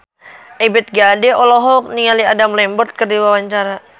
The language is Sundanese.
Ebith G. Ade olohok ningali Adam Lambert keur diwawancara